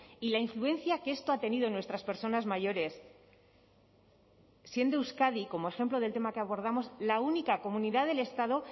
y la influencia que esto ha tenido en nuestras personas mayores siendo euskadi como ejemplo del tema que abordamos la única comunidad del estado